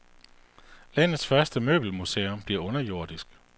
Landets første møbelmuseum bliver underjordisk.